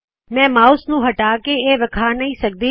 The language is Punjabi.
ਮੈਂ ਮਾਉਸ ਨੂ ਹਟਾ ਕੇ ਇਹ ਵਿਖਾ ਨਹੀ ਸਕਦੀ